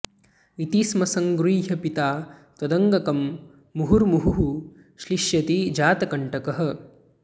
इति स्म सङ्गृह्य पिता त्वदङ्गकं मुहुर्मुहुः श्लिष्यति जातकण्टकः